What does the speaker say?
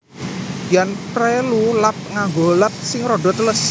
Yen prelu lap nganggo lap sing rada teles